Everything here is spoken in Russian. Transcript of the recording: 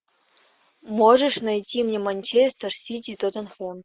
можешь найти мне манчестер сити и тоттенхэм